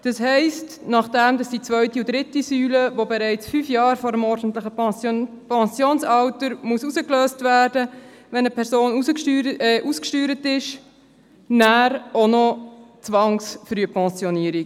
Das heisst, nach der zweiten und dritten Säule, die bereits fünf Jahre vor dem ordentlichen Pensionsalter herausgelöst werden müssen, wenn eine Person ausgesteuert ist, erfolgt nachher auch noch die Zwangsfrühpensionierung.